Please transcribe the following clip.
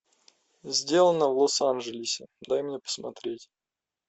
сделано в лос анжелесе дай мне посмотреть